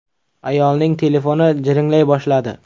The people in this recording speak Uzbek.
Ayolning telefoni jiringlay boshladi.